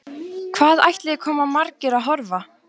Hvað ætli komi margir að horfa?